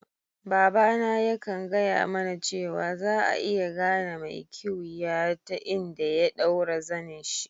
Baba na ya kan gaya mana cewa, za'a iya gane mai kiwiya ta inda ya daura zenin'shi.